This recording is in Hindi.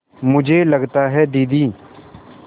मुझे लगता है दीदी